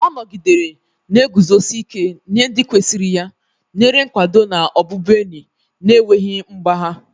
Ọ nọgidere na-eguzosi ike nye ndị kwesịrị ya, nyere nkwado na ọbụbụenyi na-enweghị mgbagha.